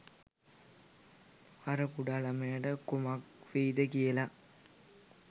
අර කුඩා ළමයට කුමක් වෙයිද කියල